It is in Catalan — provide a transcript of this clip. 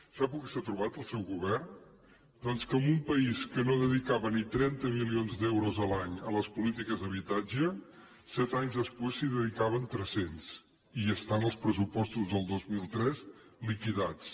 sap el que s’ha trobat el seu govern doncs que en un país que no dedicava ni trenta milions d’euros l’any a les polítiques d’habitatge set anys després se n’hi dedicaven tres cents i està en els pressupostos del dos mil tres liquidats